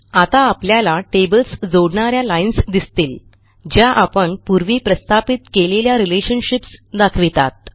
आता आपल्याला टेबल्स जोडणा या लाईन्स दिसतील ज्या आपण पूर्वी प्रस्थापित केलेल्या रिलेशनशिप्स दाखवितात